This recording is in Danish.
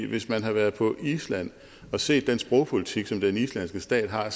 hvis man har været på island og set den sprogpolitik som den islandske stat har